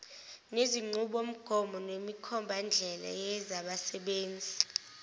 nezinqubomgomo nemikhombandlela yezabasebenzi